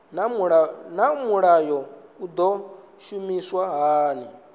naa mulayo u do shumiswa hani